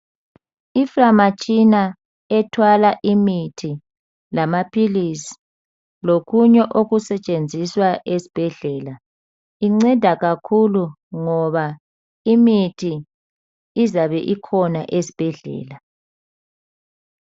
Indizamtshina ethwala imithi lamaphilizi lokunye okusetshenziswa esibhedlela inceda kakhulu ngoba imithi izabe ikhona esibhedlela.